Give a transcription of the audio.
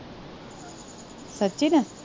Sachin